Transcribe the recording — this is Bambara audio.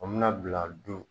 O mina bila don